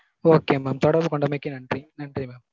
okay mam தொடர்பு கொண்டமைக்கு நன்றி. நன்றி mam.